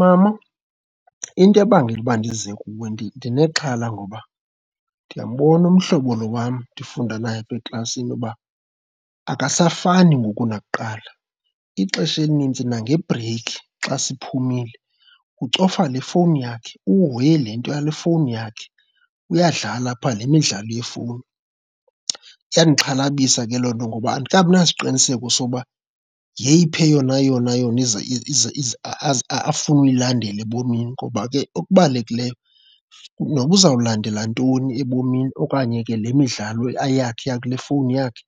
Mama into ebangela uba ndize kuwe ndinexhala ngoba ndiyambona umhlobo lo wam ndifunda nayo apha eklasini uba akasafani ngoku nakuqala, ixesha elinintsi nangebreykhi xa siphumile ucofa le fowuni yakhe, uhoye le nto yale efowunini yakhe, uyadlala apha le midlalo yefowuni. Iyandixhalabisa ke loo nto ngoba andikabi nasiqiniseko soba yeyiphi eyona yona yona afuna uyilandela ebomini ngoba ke okubalulekileyo noba uzawulandela ntoni ebomini okanye ke le midlalo yakhe eyakule fowuni yakhe,